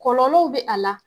Kɔlɔlɔw be a la.